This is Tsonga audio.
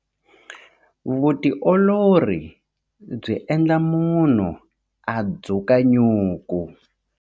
Vutiolori byi endla munhu a dzuka nyuku.